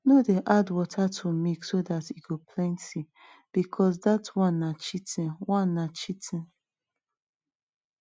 no dey add water to milk so dat e go plenty because dat one na cheating one na cheating